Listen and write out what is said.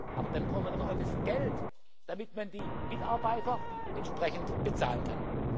Aber dann brauchen wir doch auch das Geld, damit man die Mitarbeiter entsprechend bezahlen